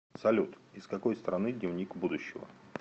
салют из какой страны дневник будущего